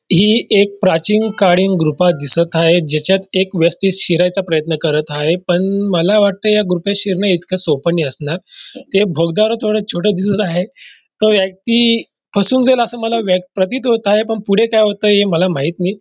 ही एक प्राचीन काळीन गुफा दिसत आहे ज्याच्यात एक व्यक्ति शिरायचा प्रयत्न करत आहे पण मला वाटत या गुफेत शिरन इतक सोप नाही असणार ते भगदाड थोड छोटस दिसत आहे तो व्यक्ति फसून जाईल अस मला वे व्य प्रतीत होत आहे पण पुढे काय होएल हे मला माहीत नाही.